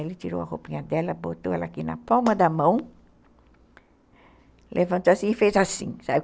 Ele tirou a roupinha dela, botou ela aqui na palma da mão, levantou assim e fez assim, sabe?